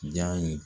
Jaa ye